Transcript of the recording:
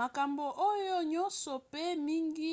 makambo oyo nyonso mpe mingi